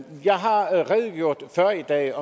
jeg har redegjort for i dag